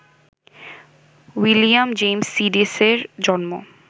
William James সিডিসের জন্ম